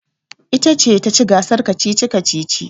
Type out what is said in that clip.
Ita ce ta ci gasar kacici-kacici.